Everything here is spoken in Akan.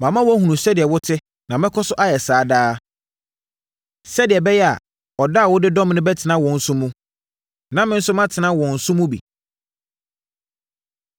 Mama wɔahunu sɛdeɛ wo te na mɛkɔ so ayɛ saa daa, sɛdeɛ ɛbɛyɛ a, ɔdɔ a wodɔ me no bɛtena wɔn nso mu na me nso, matena wɔn nso mu bi.”